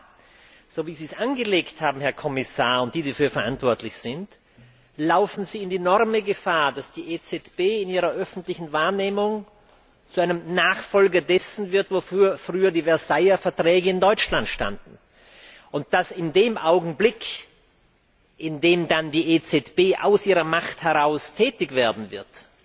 Aber so, wie Sie es angelegt haben, Herr Kommissar und die, die dafür verantwortlich sind, laufen Sie enorme Gefahr, dass die EZB in ihrer öffentlichen Wahrnehmung zu einem Nachfolger dessen wird, wofür früher die Versailler Verträge in Deutschland standen, und dass in dem Augenblick, in dem dann die EZB aus ihrer Macht heraus tätig wird,